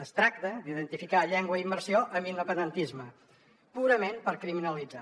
es tracta d’identificar llengua i immersió amb independentisme purament per criminalitzar